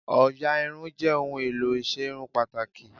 Òyà Irun jẹ́ ohun èlò ìserun pàtàkì